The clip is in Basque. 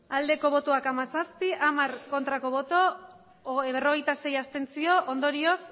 hamairu bai hamazazpi ez hamar abstentzioak berrogeita sei ondorioz